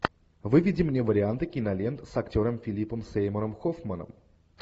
выведи мне варианты кинолент с актером филипом сеймуром хоффманом